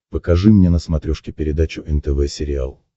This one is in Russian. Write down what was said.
покажи мне на смотрешке передачу нтв сериал